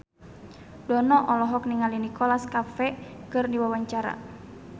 Dono olohok ningali Nicholas Cafe keur diwawancara